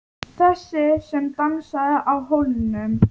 Þessi sem dansaði á hólnum.